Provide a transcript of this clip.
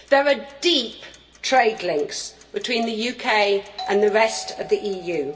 There are deep trade links between the UK and the rest of the EU